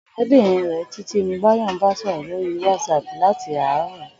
Ò̩ré̩bìnrin rè̩ Títí ni Báyò̩ ń bá sò̩rò̩ lórí WhatsApp láti àárò̩